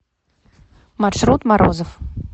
маршрут морозов